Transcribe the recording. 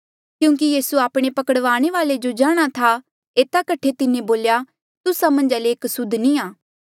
क्यूंकि यीसू आपणे पकड़वाणे वाले जो जाणहां था एता कठे तिन्हें बोल्या तुस्सा मन्झा ले एक सुद्ध नी आ